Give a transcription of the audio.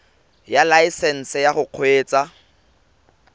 ya laesesnse ya go kgweetsa